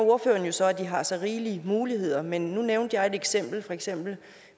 jo så at de har så rigelige muligheder men nu nævnte jeg et eksempel eksempel